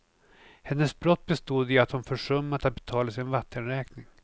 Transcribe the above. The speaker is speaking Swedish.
Hennes brott bestod i att hon försummat att betala sin vattenräkning.